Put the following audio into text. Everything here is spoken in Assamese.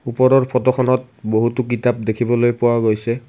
ওপৰৰ ফটোখনত বহুতো কিতাপ দেখিবলৈ পোৱা গৈছে।